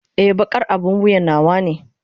Ee, baƙar abin wuya nawa ne.